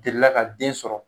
Delila ka den sɔrɔ